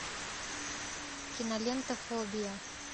кинолента фобия